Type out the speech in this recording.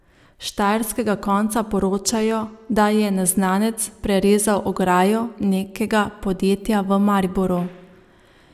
S štajerskega konca poročajo, da je neznanec prerezal ograjo nekega podjetja v Mariboru.